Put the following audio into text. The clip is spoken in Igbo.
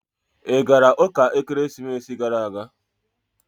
Ị gara ụka ekeresimesi gara aga?